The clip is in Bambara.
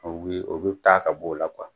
U be o be taa ka b'o la